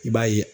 I b'a ye